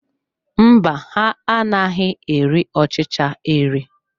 Mba, ha anaghị eri ọchịcha eri.